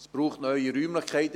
Es braucht neue Räumlichkeiten.